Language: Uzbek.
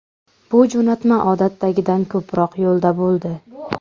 Bu jo‘natma odatdagidan ko‘proq yo‘lda bo‘ldi.